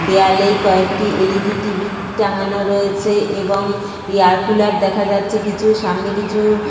দেওয়ালে কয়েকটি LED. TV. টাঙ্গানো রয়েছে এবং এয়ার কুলার দেখা যাচ্ছে কিছু। সামনে কিছু --